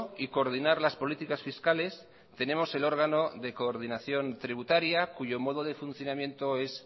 y coordinar las políticas fiscales tenemos el órgano de coordinación tributaria cuyo modo de funcionamiento es